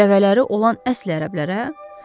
Dəvələri olan əsl ərəblərə?